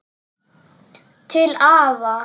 Til afa.